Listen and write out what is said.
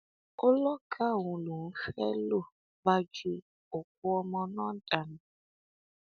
ó lọgàá òun lòún fẹ ló bá ju òkú ọmọ náà dànù